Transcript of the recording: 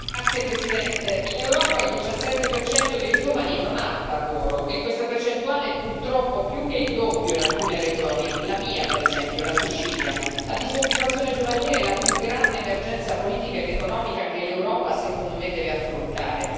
Signor Presidente, onorevoli colleghi, in Europa il 17 dei giovani non ha un lavoro e questa percentuale, purtroppo, è più che il doppio in alcune regioni la mia per esempio, la Sicilia. La disoccupazione giovanile è la più grande emergenza politica ed economica che l'Europa, secondo me, deve affrontare.